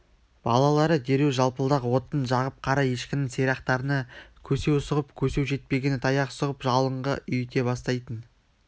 балалары дереу жалпылдақ отын жағып қара ешкінің сирақтарына көсеу сұғып көсеу жетпегені таяқ сұғып жалынға үйіте бастайтын